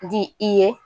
Di i ye